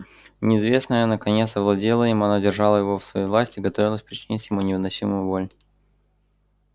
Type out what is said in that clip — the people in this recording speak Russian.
неизвестное наконец овладело им оно держало его в своей власти и готовилось причинить ему невыносимую боль